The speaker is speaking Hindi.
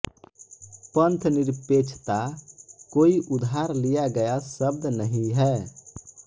पंथनिरपेक्षता कोई उधार लिया गया शब्द नहीं है